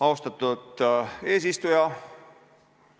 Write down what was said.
Austatud eesistuja!